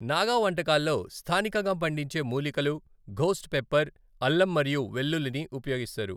నాగా వంటకాల్లో స్థానికంగా పండించే మూలికలు, ఘోస్ట్ పెప్పర్, అల్లం మరియు వెల్లుల్లిని ఉపయోగిస్తారు.